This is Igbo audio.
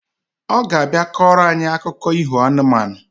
Oga abia koro anyi akuko iho anụmanụ